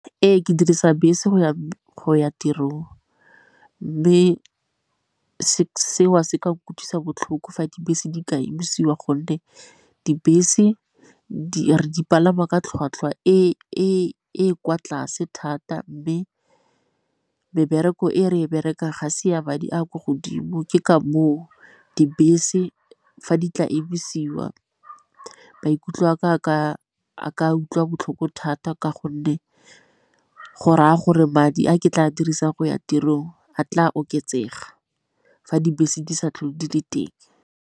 Ee, ke dirisa bese go ya tirong, mme seo se ka utlwisa botlhoko fa dibese di ka emisiwa gonne dibese re di dipalangwa ka tlhwatlhwa e kwa tlase thata. Mme mebereko e re e berekang ga se ya madi a kwa godimo, ke ka moo dibese fa di tla emisiwa maikutlo a ka utlwa botlhoko thata ka gonne go raya gore madi a ke tla dirisang go ya tirong a tla oketsega fa dibese di sa tlhole di le teng.